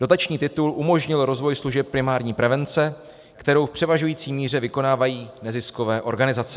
Dotační titul umožnil rozvoj služeb primární prevence, kterou v převažující míře vykonávají neziskové organizace.